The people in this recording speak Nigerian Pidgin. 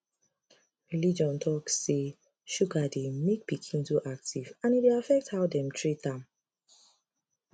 religion talk say sugar dey make pikin too active and e dey affect how dem treat am